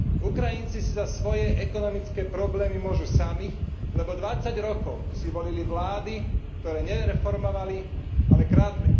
Ukrajinci si za svoje ekonomické problémy môžu sami, lebo 20 rokov si volili vlády, ktoré nereformovali, ale kradli.